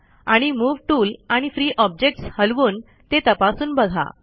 आणि move tool आणि free objects हलवून ते तपासून बघा